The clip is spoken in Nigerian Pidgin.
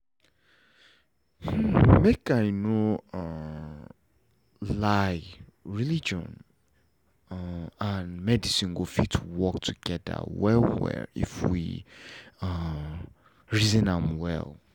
make i know um lie religion um and medicine go fit work together well well if we um reason am well